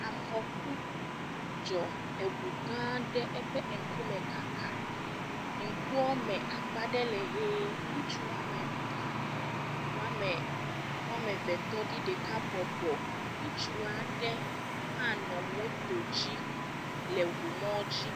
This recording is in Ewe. Afɔku dzɔ, eŋu gãa aɖe eƒe ŋkume kaka, ŋkuɔme akpa ɖe le ʋe, ŋutsu woame etɔ̃, woame eve tɔ ɖi, ɖeka bɔbɔ, ŋutsu aɖe hã nɔ moto dzi le ŋumɔdzi.